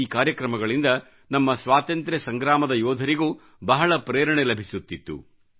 ಈ ಕಾರ್ಯಕ್ರಮಗಳಿಂದ ನಮ್ಮ ಸ್ವಾತಂತ್ರ್ಯ ಸಂಗ್ರಾಮದ ಯೋಧರಿಗೂ ಬಹಳ ಪ್ರೇರಣೆ ಲಭಿಸುತ್ತಿತ್ತು